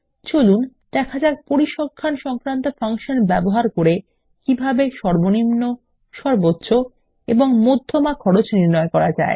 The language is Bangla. চলুন দেখ যাক পরিসংখ্যান সংক্রান্ত ফাংশন ব্যবহার করে কিভাবে সর্বনিম্ন সর্বোচ্চ এবং মধ্যমা খরচ নির্ণয় করা যায়